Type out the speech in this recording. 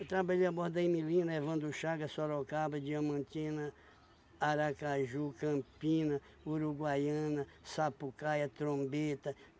Eu trabalhei a bordo da, Evandro Chaga, Sorocaba, Diamantina, Aracaju, Campina, Uruguaiana, Sapucaia, Trombeta.